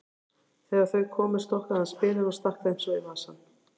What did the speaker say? Þegar þau komu stokkaði hann spilin og stakk þeim svo í vasann.